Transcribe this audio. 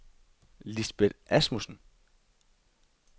Lisbet Asmussen